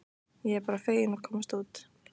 Ég er bara fegin að komast út!